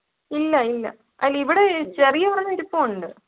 ഇല്ല ഇല്ല. അല്ല ഇവിടെ ചെറിയ ഒരെണ്ണം ഇരിപ്പൊണ്ട്.